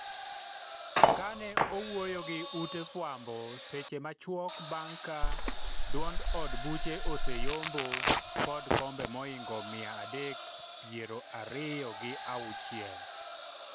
kane owuoyo gi ute fwambo seche machuok bang' ka duond od buche oseyombo kod kombe moingo mia adek pier ariyo gi auchiel